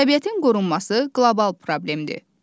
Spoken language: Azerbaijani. Təbiətin qorunması qlobal problemdir.